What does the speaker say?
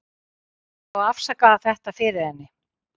Ég veit ekki hvernig ég á að afsaka þetta fyrir henni.